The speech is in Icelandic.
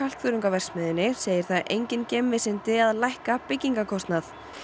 verksmiðjunni segir það engin geimvísindi að lækka byggingarkostnað